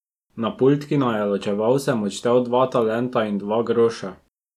Na pult, ki naju je ločeval, sem odštel dva talenta in dva groša.